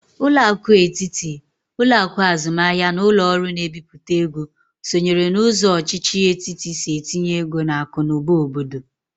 Ụlọakụ etiti, ụlọakụ azụmahia na ụlọ ọrụ na-ebiputa ego sonyere na ụzọ ọchịchị etiti si etinye ego n'akụ na ụba obodo.